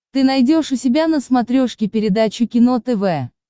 ты найдешь у себя на смотрешке передачу кино тв